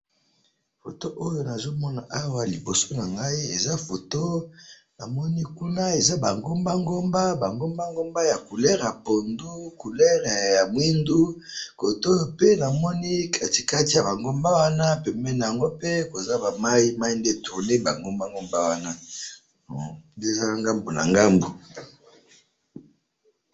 Foto oyo nazomona awa liboso nangayi, eza foto namoni kuna eza bangomba ngomba, bangomba ngomba ya couleur ya pondu, couleur ya mwindu, kotoyope namoni katikati yaba ngomba wana pembeni yango pe koza ba mayi, mayi nde etourné bangomba ngomba wana, hum! Nde eza ngambu nangambu.